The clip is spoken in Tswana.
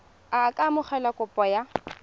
a ka amogela kopo ya